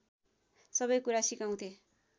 सबैकुरा सिकाउँथे